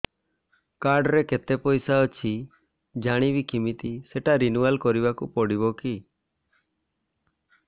card ରେ କେତେ ପଇସା ଅଛି ଜାଣିବି କିମିତି ସେଟା ରିନୁଆଲ କରିବାକୁ ପଡ଼ିବ କି